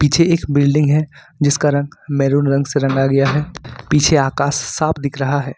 पीछे एक बिल्डिंग है जिसका रंग मैरून रंग से रंगा गया है पीछे आकाश साफ दिख रहा है।